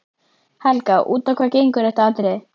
Helga: Út á hvað gengur þetta atriði?